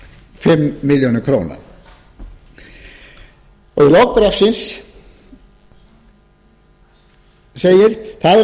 fimm milljónir króna í lok bréfsins segir það er ekki að